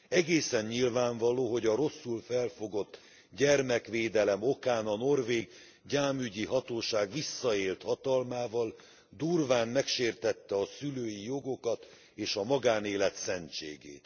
Egészen nyilvánvaló, hogy a rosszul felfogott gyermekvédelem okán a norvég gyámügyi hatóság visszaélt hatalmával, durván megsértette a szülői jogokat, és a magánélet szentségét.